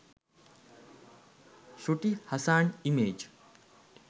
shruti hassan image